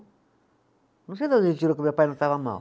Não sei de onde ele tirou que meu pai não estava mal.